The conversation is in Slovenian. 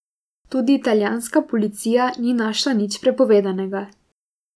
Tudi italijanska policija ni našla nič prepovedanega.